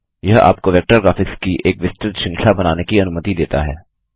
यह आपको vector graphics की एक विस्तृत श्रृंखला बनाने की अनुमति देता है